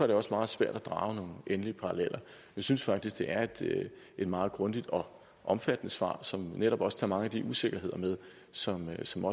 det også meget svært at drage nogle endelige paralleller jeg synes faktisk det er et meget grundigt og omfattende svar som netop også tager mange af de usikkerheder med som som